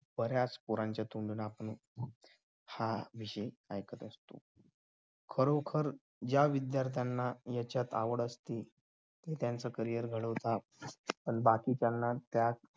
बऱ्याच पोरांच्या तोंडून आपण हाच विषय ऐकत असतो खरोखर ज्या विद्यार्थ्यांना यांच्यात आवड असते ते त्यांचं carrier घडवतात पण बाकीच्यांना त्यात